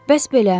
Bəs belə.